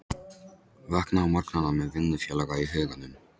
Vakna á morgnana með vinnufélaga í huganum.